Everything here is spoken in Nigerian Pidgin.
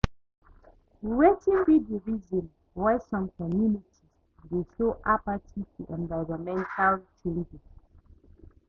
Wetin be di reason why some communities dey show apathy to environmental challenges?